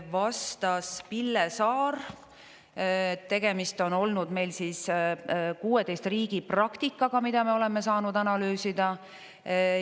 Vastas Pille Saar, et tegemist on olnud meil 16 riigi praktikaga, mida me oleme saanud analüüsida.